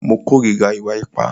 Mo kòrira ìwà ipá.